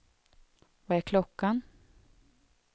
Vad är klockan